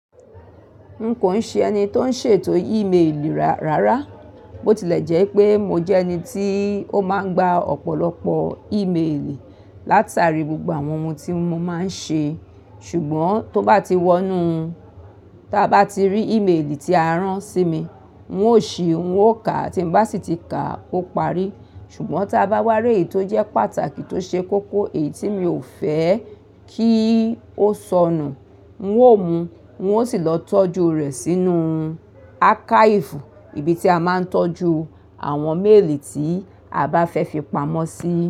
N kò n ṣe ẹni tó ń ṣètò e-mail rárá, bó ti lè jẹ́ pé mo jẹ ẹni tí ó máa ń gba ọ̀pọ̀lọpọ̀ e-mail látàrí gbogbo àwọn ohun tí mo máa ń ṣe, ṣùgbọ́n tó bá ti wọ́nú, tá bá ti rí e-mail tí a rán sí mi, n óò ṣí, n óò kà, tí n bá sì ti kà, ó parí. Ṣùgbọ́n tá bá wárí èyí tó jẹ́ pàtàkì tó ṣe kókó èyí tí mi ò fẹ́ kí ó sọnù, n óò mu, n ó sì lọ tọ́jú rẹ̀ sínú archive, ibi tí a máa ń tọ́jú àwọn mail tí a bá fẹ́ fi pamọ́ sí.